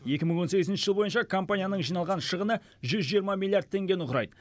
екі мың он сегізінші жыл бойынша компанияның жиналған шығыны жүз жиырма миллиард теңгені құрайды